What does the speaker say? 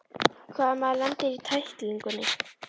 Hvað ef maðurinn lendir í tæklingunni?